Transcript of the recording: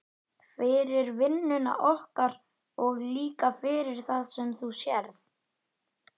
Fyrir vinnuna okkar og líka fyrir það sem þú sérð.